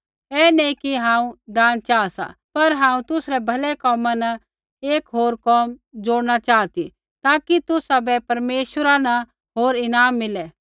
ऐ नैंई कि हांऊँ दान चाहा सा पर हांऊँ तुसरै भलै कोमा न एक होर कोम जोड़ना चाहा ती ताकि तुसाबै परमेश्वरा न होर ईनाम मिलै